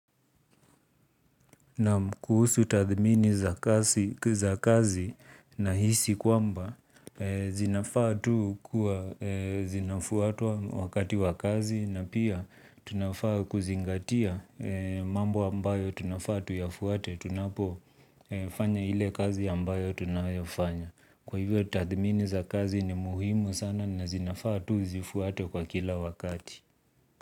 Na kuhusu tathmini za kazi na hisi kwamba zinafaa tu kuwa zinafuatwa wakati wa kazi na pia tunafaa kuzingatia mambo ambayo tunafaa tuyafuate tunapo fanya ile kazi ambayo tunayofanya kwa hivyo tathimin za kazi ni muhimu sana zinafaa zifuatwe kila wakati.